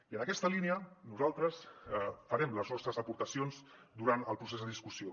i en aquesta línia nosaltres farem les nostres aportacions durant el procés de discussió